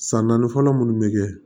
San naani fɔlɔ munnu bɛ kɛ